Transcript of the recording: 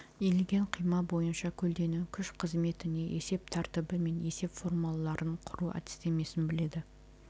иілген қима бойынша көлденең күш қызметіне есеп тәртібі мен есеп формулаларын құру әдістемесін біледі